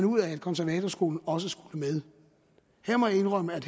ud af at konservatorskolen også skulle med her må jeg indrømme at